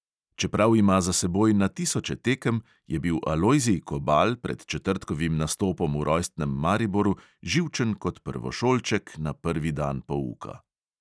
Čeprav ima za seboj na tisoče tekem, je bil alojzij kobal pred četrtkovim nastopom v rojstnem mariboru živčen kot prvošolček na prvi dan pouka.